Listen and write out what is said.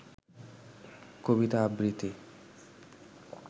কবিতা আবৃত্তি